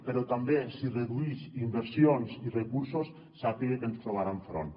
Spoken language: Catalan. però també si reduïx inversions i recursos sàpiga que ens trobarà enfront